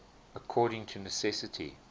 according to necessity